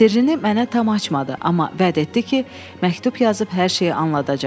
Sirrini mənə tam açmadı, amma vəd etdi ki, məktub yazıb hər şeyi anladacaq.